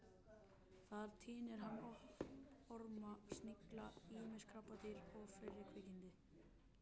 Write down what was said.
Þar tínir hann upp orma, snigla, ýmis krabbadýr og fleiri kvikindi.